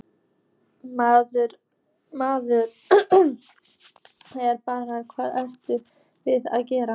Maður er bara, hvað eruð þið að gera?